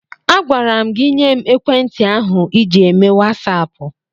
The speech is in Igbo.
Agwara m gị nye m ekwentị ahụ ịji eme wasaapụ!